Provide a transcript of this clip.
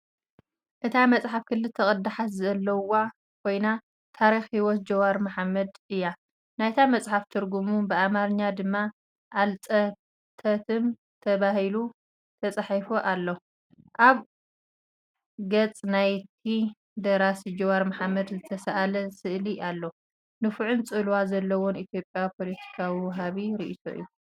እታ መጽሓፍ ክልተ ቅዳሓት ዘለዋ ኮይና፡ ታሪኽ ህይወት ጃዋር መሓመድ እያ። ናይታ መጽሓፍ ትርጉሙ:ብኣምሓርኛ ድማ "ኣልጸተተም" ተባሂሉ ተጻሒፉ ኣሎ። ኣብ ገጽ ናይቲ ደራሲ ጃዋር መሓመድ ዝተሳእለ ስእሊ ኣሎ። ንፉዕን ጽልዋ ዘለዎን ኢትዮጵያዊ ፖለቲካዊ ወሃቢ ርእይቶ እዩ።